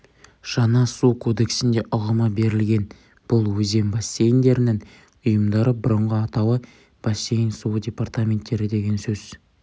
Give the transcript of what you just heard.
жаңа су кодексінде ұғымы берілген бұл өзен бассейндерінің ұйымдары бұрынғы атауы бассейн суы департаменттері деген сөз